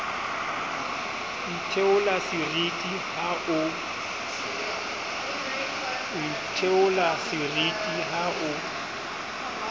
o itheola seriti ha o